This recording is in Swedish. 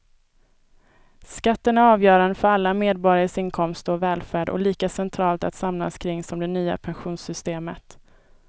Skatten är avgörande för alla medborgares inkomster och välfärd och lika centralt att samlas kring som det nya pensionssystemet.